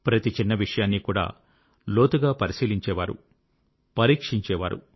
ప్రతి చిన్న విషయాన్ని కూడా లోతుగా పరిశీలించేవారు పరీక్షించేవారు